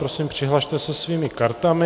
Prosím, přihlaste se svými kartami.